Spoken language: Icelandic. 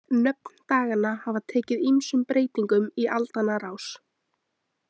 Nöfn daganna hafa tekið ýmsum breytingum í aldanna rás.